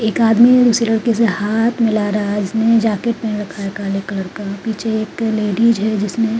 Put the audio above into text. एक आदमी एक दूसरे लड़के से हाथ मिला रहा है जिसने जैकेट पहना है काले कलर का पीछे एक लेडीज है जिसने --